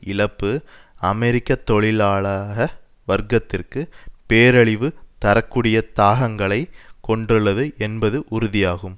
இழப்பு அமெரிக்க தொழிலாள வர்க்கத்திற்கு பேரழிவு தர கூடிய தாகங்களை கொண்டுள்ளது என்பது உறுதியாகும்